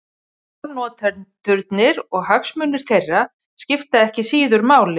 Málnotendurnir og hagsmunir þeirra skipta ekki síður máli.